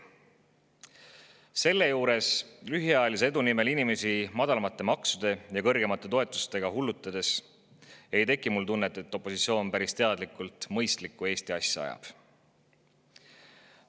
Kui selle juures lühiajalise edu nimel inimesi madalamate maksude ja kõrgemate toetustega hullutatakse, siis ei teki mul tunnet, et opositsioon päris teadlikult mõistlikku Eesti asja ajaks.